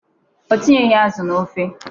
O tinyeghị azụ n'ofe.